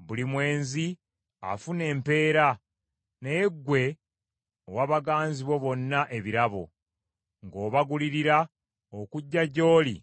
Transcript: Buli mwenzi afuna empeera, naye ggwe owa baganzi bo bonna ebirabo, ng’obagulirira okujja gy’oli